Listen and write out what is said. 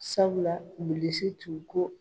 Sabula Bilisi tun ko